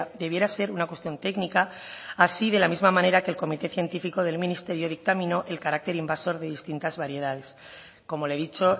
debiera ser una cuestión técnica así de la misma manera que el comité científico del ministerio dictaminó el carácter invasor de distintas variedades como le he dicho